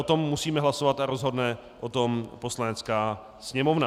O tom musíme hlasovat a rozhodne o tom Poslanecká sněmovna.